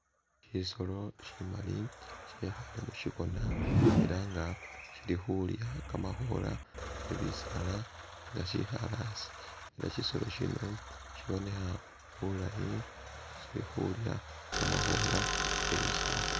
Shisolo shimali shekhaale mushikona ela nga shili khulya kamakhola ke bisaala nga shekhaale asi ela shisolo shino shibonekha bulayi sili khulya kamakhoola ke bisaala